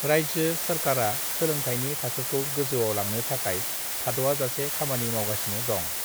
राज्यो सोरकारआ सोलोंथाइनि थाखोखौ गोजौआव लांनो थाखाय थाद'आजासे खामानि मावगासिनो दं।